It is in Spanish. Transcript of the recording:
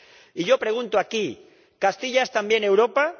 Y yo pregunto aquí ¿Castilla es también Europa?